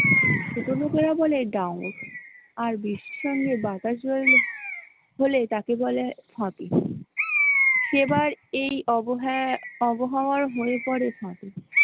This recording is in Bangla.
ছোট লোকেরা বলে , আর বৃষ্টি র সঙ্গে বাতাস বইলে হলে তাকে বলে , সেবার এই আবহাওয়া হয়ে পরে ।